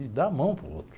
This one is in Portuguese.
E dar a mão para o outro.